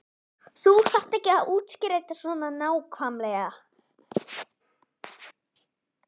Þú þarft ekki að útskýra þetta svona nákvæmlega.